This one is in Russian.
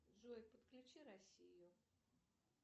джой подключи россию